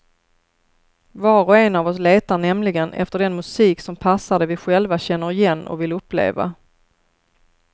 Var och en av oss letar nämligen efter den musik som passar det vi själva känner igen och vill uppleva.